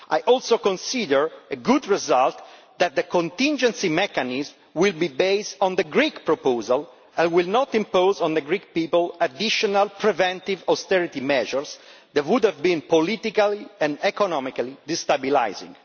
I also consider it a good result that the contingency mechanism will be based on the Greek proposal and will not impose on the Greek people additional preventive austerity measures that would have been politically and economically destabilising.